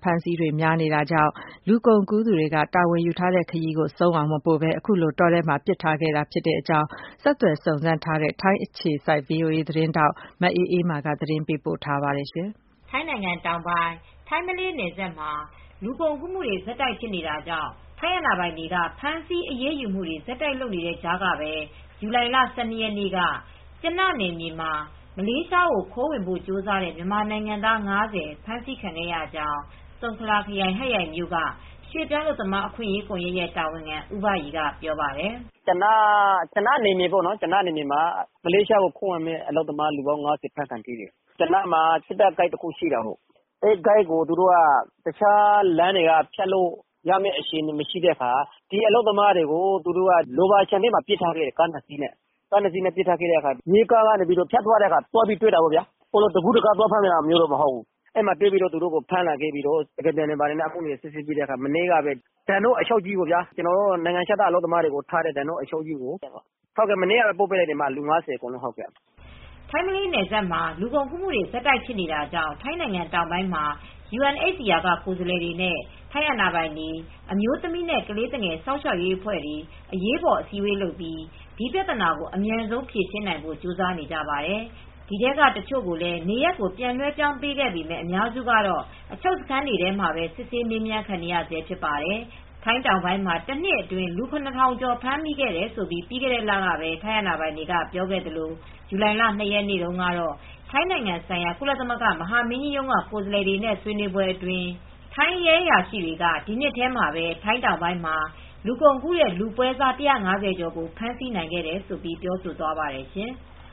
ဖမ်းဆီးတွေ ရှိနေတာကြောင့် လူကုန်ကူးသူတွေက လူတွေကို အစုအဝေးနဲ့စွန်ပစ်ထားခဲ့မှုတွေ ဆက်တိုက် ဖြစ်ပေါ်နေပါတယ်။ မအေးမာက သတင်းပေးပို့ထားပါတယ်။ ထိုင်းနိုင်ငံတောင်ပိုင်း ထိုင်းမလေးနယ်စပ်မှာ လူကုန်ကူးမှုတွေ ဆက်တိုက်ဖြစ်နေတာကြောင့် ထိုင်းအာဏာပိုင်တွေက ဖမ်းဆီးအရေးယူမူတွေ ဆက်တိုက်ဖြစ်နေတဲ့ကြားကပဲ ဇူလိုင်လ ၁၂ ရက်နေ့က ကျန နယ်မြေမှာ မလေးရှားကို ခိုးဝင်ဖို့ကြိုးစားတဲ့ မြန်မာနိုင်ငံသား ၅၀ ဖမ်းဆီးခံခဲ့ရကြောင်း ဆုံခလာ ခရိုင်ဟတ်ရိုင်မြို့က ရွှေ့ပြောင်းအလုပ်သမားအခွင့်ရေးကွန်ယက်ရဲ့ တာဝန်ခံဦးဘရီက ပြောပါတယ်။ "ကျန နယ်မြေမှာ မလေးရှားကို ခိုးဝင်မယ့် အလုပ်သမား လူပေါင်း ၅၀ ဖမ်းထိတယ်။ ကျနမှာ စစ်တပ်ဂိတ် တခု ရှိတာပေါ့။ အဲဒီဂိတ်ကို အခြားလမ်းတွေက ဖြတ်လို့ရမယ့် အခြေအနေမရှိတဲ့ ပစ်ထားခဲ့တယ်။ ရာဘာတောထဲမှာ ကား နှစ် စီးနဲ့ ပစ်ထားခဲ့တယ်။ ရဲကားက ဖြတ်သွားတုန်းတွေ့တာ တကူးတက သွားဖမ်းတာ မဟုတ်ဘူး။ မနေ့က သူတို့ကို သွားဖမ်းပြီး နိုင်ငံခြားသား အလုပ်သမားတွေကို ထားတဲ့ ဒန်နော့ အချုပ်ကြီးကို မနေ့ကပဲ ပို့လိုက်တယ်... လူ ၅၀ ကို ပေ့ါနော်။" ထိုင်းမလေးနယ်စပ်မှာ လူကုန်ကူးမူတွေ ဆက်တိုက်ဖြစ်နေတာကြောင့် ထိုင်းနိုင်ငံတောင်ပိုင်းမှာ ယူအန်အိတ်စီအာက ကိုယ်စားလှယ်တွေနဲ့ ထိုင်းအာဏာပိုင်တွေ အမျိုးသမီးနဲ့ ကလေးသူငယ် စောင့်ရှောက်ရေးအဖွဲ့တွေ အရေးပေါ် အစည်းအဝေး လုပ်ပြီး ဒီပြဿနာကို အမြန်ဆုံးဖြေရှင်းနိုင်ဖို့ ကြိုးစားနေကြပါတယ်။ ဒီထဲက တချို့ကိုလည်း နေရပ်ကိုပြန်လွဲှပြောင်းပေးခဲ့ပေမဲ့ အများစုကတော့ အချုပ်စခန်းတွေထဲမှာ စစ်ဆေးမေးမြန်းခံနေရဆဲ ဖြစ်ပါတယ်။ ထိုင်းတောင်ပိုင်းမှာ တနှစ်အတွင်း လူ ၇,၀၀၀ ကျော် ဖမ်းမိခဲ့တယ်လို့ ပြီးခဲ့တဲ့လ ကပဲ ထိုင်းအာဏာပိုင်တွေက ပြောခဲ့သလို ဇူလိုင်လ ၂ ရက်နေ့က ထိုင်းနိုင်ငံဆိုင်ရာကုလသမဂ္ဂ မဟာမင်းကြီးရုံးက ကိုယ်စားလှယ်တွေနဲ့ ဆွေးနွေးပွဲအတွင်းမှာတော့ ထိုင်းရဲအရာရှိတွေက ဒီနှစ်ထဲမှာပဲ ထိုင်းတောင်ပိုင်းမှာ လူကုန်ကူးတဲ့ ပွဲစား ၁၅၀ ကျော်ကိုဖမ်းဆီးနိုင်ခဲ့တယ်လို့ ပြောဆိုသွားပါတယ်ရှင်။